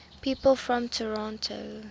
people from toronto